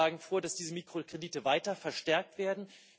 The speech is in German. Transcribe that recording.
Wir schlagen vor, dass diese Mikrokredite weiter verstärkt werden.